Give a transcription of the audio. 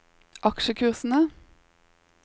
aksjekursene